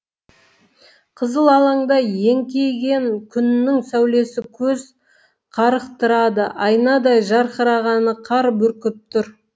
қызыл алаңда еңкейген күннің сәулесі көз қарықтырады айнадай жарқыраған қар бүркіп тұр